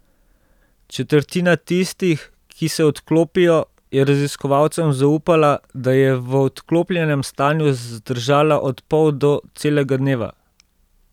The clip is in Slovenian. Četrtina tistih, ki se odklopijo, je raziskovalcem zaupala, da je v odklopljenem stanju zdržala od pol do celega dneva.